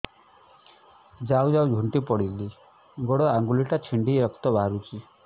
ଯାଉ ଯାଉ ଝୁଣ୍ଟି ପଡ଼ିଲି ଗୋଡ଼ ଆଂଗୁଳିଟା ଛିଣ୍ଡି ରକ୍ତ ବାହାରୁଚି